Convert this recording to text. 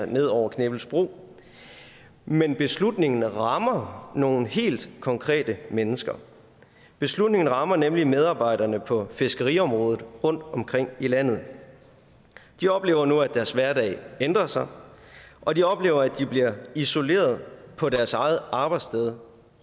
ned over knippelsbro men beslutningen rammer nogle helt konkrete mennesker beslutningen rammer nemlig medarbejderne på fiskeriområdet rundtomkring i landet de oplever nu at deres hverdag ændrer sig og de oplever at de bliver isoleret på deres eget arbejdssted